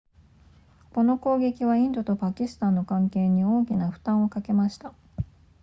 この攻撃はインドとパキスタンの関係に大きな負担をかけました